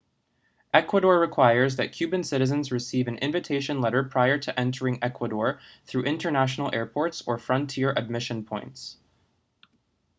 ecuador requires that cuban citizens receive an invitation letter prior to entering ecuador through international airports or frontier admission points